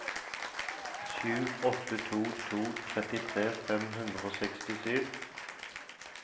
sju åtte to to trettitre fem hundre og sekstisju